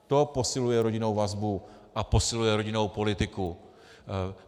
To posiluje rodinnou vazbu a posiluje rodinnou politiku.